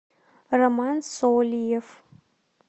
роман сольев